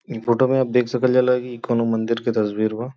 ई फोटो